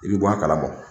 I bi bɔ a kalama